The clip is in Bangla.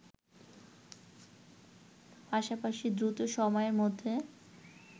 পাশাপাশি দ্রুত সময়ের মধ্যে